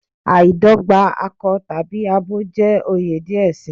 Aidogba akọ tabi abo jẹ oyè diẹ sii